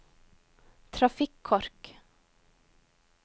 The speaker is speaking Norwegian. trafikkork